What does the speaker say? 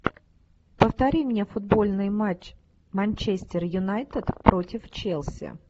повтори мне футбольный матч манчестер юнайтед против челси